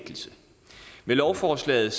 lovforslaget